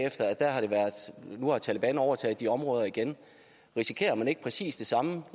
nu har taleban overtaget de områder igen risikerer man ikke præcis det samme